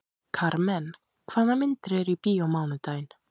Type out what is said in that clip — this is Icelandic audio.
Karmen, hvaða myndir eru í bíó á mánudaginn?